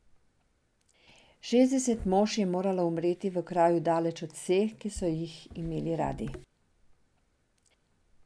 Šestdeset mož je moralo umreti v kraju daleč od vseh, ki so jih imeli radi.